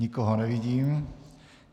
Nikoho nevidím.